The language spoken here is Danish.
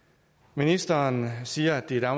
ministeren siger at det er